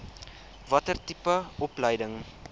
watter tipe opleiding